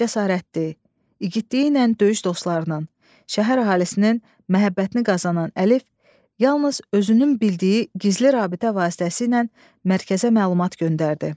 Cəsarətli, igidliyi ilə döyüş dostlarının, şəhər əhalisinin məhəbbətini qazanan Əlif yalnız özünün bildiyi gizli rabitə vasitəsi ilə mərkəzə məlumat göndərdi.